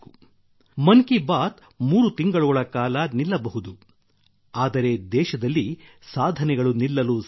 ಮನ್ ಕಿ ಬಾತ್ ಮೂರು ತಿಂಗಳುಗಳ ಕಾಲ ನಿಲ್ಲಬಹುದು ಆದರೆ ದೇಶದಲ್ಲಿ ಸಾಧನೆಗಳು ನಿಲ್ಲಲು ಸಾಧ್ಯವೇ